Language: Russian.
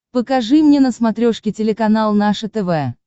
покажи мне на смотрешке телеканал наше тв